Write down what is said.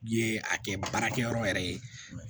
Ye a kɛ baarakɛyɔrɔ yɛrɛ ye